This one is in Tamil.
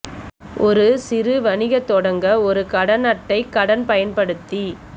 ஒரு சிறு வணிக தொடங்க ஒரு கடன் அட்டை கடன் பயன்படுத்தி